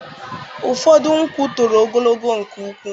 Ụfọdụ nkwụ toro ogologo nke ukwuu.